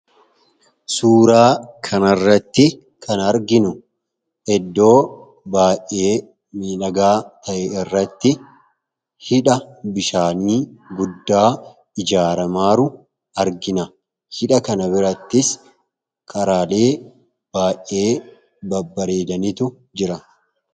Suuraa kana irratti kan arginu eddoo baa'ee midhagaa ta’e irratti hidha bishaanii guddaa ijaaramaaru argina. Hidha kana birattis karaalee baay'ee babbareedanitu jira.